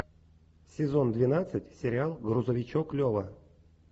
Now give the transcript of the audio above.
сезон двенадцать сериал грузовичок лева